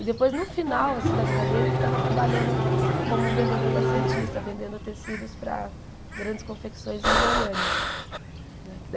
E depois, no final assim da vida dele, ele estava trabalhando como vendedor da Santista, vendendo tecidos para grandes confecções em Goiânia.